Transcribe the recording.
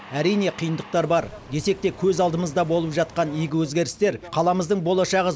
әрине қиындықтар бар десек те көз алдымызда болып жатқан игі өзгерістер қаламыздың болашағы